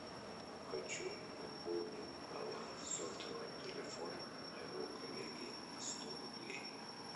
хочу пополнить баланс сотового телефона моего коллеги на сто рублей